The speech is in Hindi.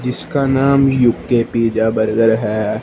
जीसका नाम यू_के पिज़्ज़ा बर्गर है।